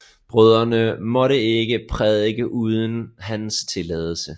Brødrene måtte ikke prædike uden hans tilladelse